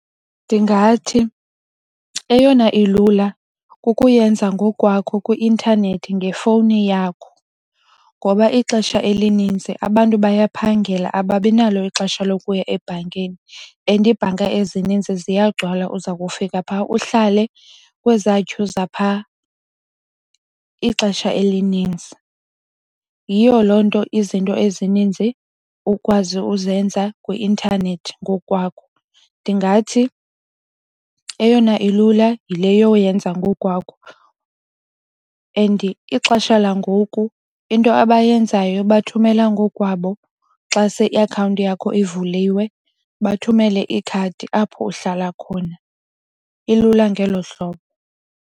Ndingathi eyona ilula kukuyenza ngokwakho kwi-intanethi ngefowuni yakho ngoba ixesha elinintsi abantu bayaphangela ababi nalo ixesha lokuya ebhankini. And iibhanka ezininzi ziyagcwala. Zza kufika phaa uhlale kweza thyu zaphaa ixesha elininzi. Yiyo loo nto izinto ezininzi ukwazi uzenza kwi-intanethi ngokwakho. Ndingathi eyona ilula yile yoyenza ngokwakho and ixesha langoku into abayenzayo bathumela ngokwabo xa se iakhawunti yakho ivuliwe bathumele ikhadi apho uhlala khona. Ilula ngelo hlobo.